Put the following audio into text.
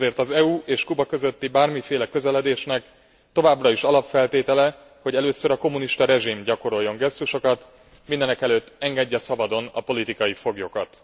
Ezért az EU és Kuba közötti bármiféle közeledésnek továbbra is alapfeltétele, hogy először a kommunista rezsim gyakoroljon gesztusokat, mindenekelőtt engedje szabadon a politikai foglyokat.